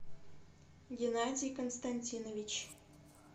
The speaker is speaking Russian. геннадий константинович